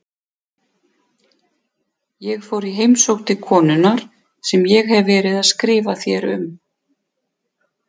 Ég fór í heimsókn til konunnar sem ég hef verið að skrifa þér um.